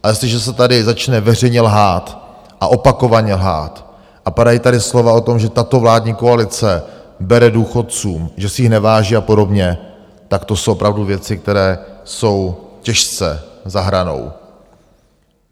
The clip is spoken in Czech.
Ale jestliže se tady začne veřejně lhát, a opakovaně lhát, a padají tady slova o tom, že tato vládní koalice bere důchodcům, že si jich neváží a podobně, tak to jsou opravdu věci, které jsou těžce za hranou.